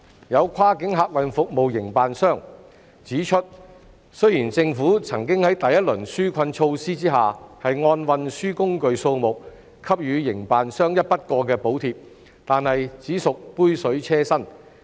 有跨境客運服務營辦商指出，雖然政府曾在第一輪紓困措施下按運輸工具數目給予營辦商一筆過補貼，但只屬杯水車薪。